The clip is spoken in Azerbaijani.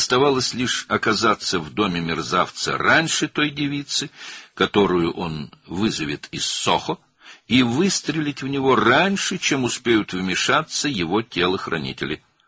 Qalmışdı ki, o, Sohodan çağıracağı qızdan əvvəl alçağın evinə çatsın və onun cangüdənləri müdaxilə etməmişdən əvvəl onu vursun.